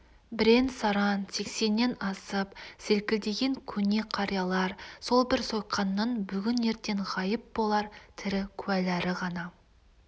бірен-саран сексеннен асып селкілдеген көне қариялар сол бір сойқанның бүгін-ертең ғайып болар тірі куәлері ғана